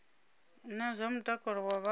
na zwa mutakalo wa vhaswa